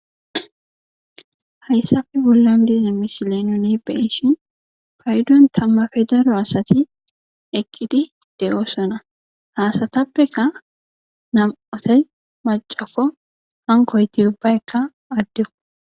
hayssafe bollan diza misileyno ne beeshin paydon tamma fedaro asati eqqidi de7oosona haasatappeka nam7ota macafo hankoyti ubbaykka addeqo